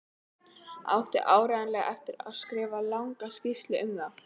Átti áreiðanlega eftir að skrifa langa skýrslu um málið.